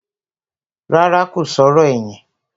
Rárá, kò sọ̀rọ̀ ẹ̀yìn